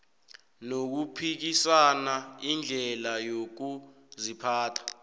nokuphikisa indlela yokuziphatha